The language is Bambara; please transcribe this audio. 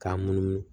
K'a munumunu